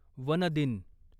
one दिन